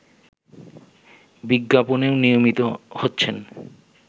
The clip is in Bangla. বিজ্ঞাপনেও নিয়মিত হচ্ছেন